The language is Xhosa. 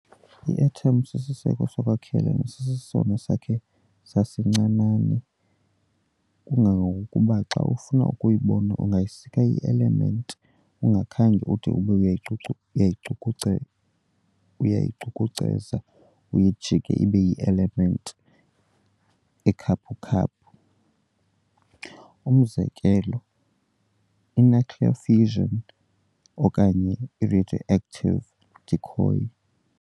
I-atom sisiseko sokwakhela nesisesona sakhe sasincinane kangangokuba xa ufuna ukuyibona ungayisika i-element ungakhange ude ube uyayicucu uyayicukuce uyayicukuceza uyijike ibe yi-element ekhaphukhaphu, umzekelo i-nuclear fission okanye ngeradioactive decay.